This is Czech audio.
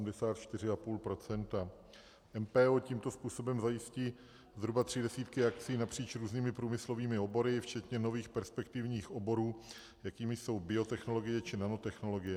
MPO tímto způsobem zajistí zhruba tři desítky akcí napříč různými průmyslovými obory, včetně nových perspektivních oborů, jakými jsou biotechnologie či nanotechnologie.